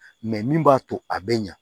Mɛ min b'a to a bɛ ɲa